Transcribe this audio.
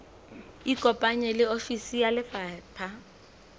ikopanye le ofisi ya lefapha